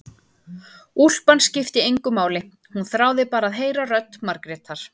Úlpan skipti engu máli, hún þráði bara að heyra rödd Margrétar.